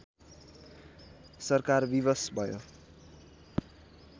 सरकार विवश भयो